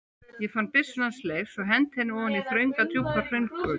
Ég fann byssuna hans Leifs og henti henni ofan í þrönga djúpa hraungjótu.